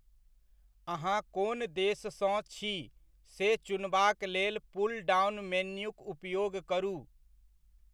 अहाँ कोन देशसँ छी से चुनबाक लेल पुलडाउन मेन्यूक उपयोग करू।